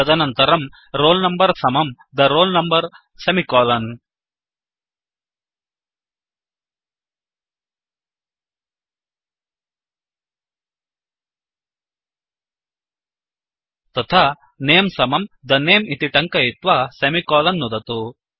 तदनन्तरं roll number समं the roll number semicolon तथा नमे समं the name इति टङ्कयित्वा सेमिकोलन् नुदतु